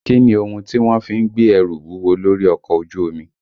Kí ni ohun tí wọ́n fi ń gbé ẹrù wúwo lórí ọkọ̀ ojú omi?